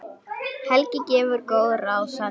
Ég veit ekki?